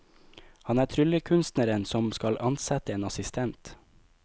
Han er tryllekunstneren som skal ansette en assistent.